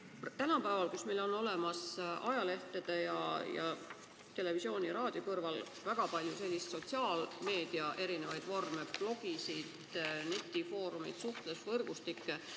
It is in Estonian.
Tänapäeval on ajalehtede, televisiooni ja raadio kõrval olemas väga palju sotsiaalmeedia vorme, blogisid, netifoorumeid, suhtlusvõrgustikke.